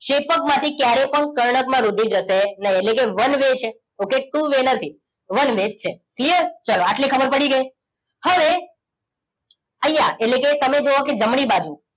ક્ષેપકમાં થીક્યારે પણ કર્ણક માં રુધિર જશે નહી એટલે કે વન વે છે ઓકે ટુ વે નથી વન વે જ છે ક્લિયર ચલો આટલી ખબર પડી ગઈ હવે અહિયાં એટલેકે તમે જોવો કે જમણી બાજુ